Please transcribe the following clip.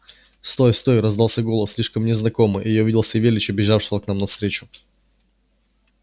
стой стой раздался голос слишком мне знакомый и я увидел савельича бежавшего к нам навстречу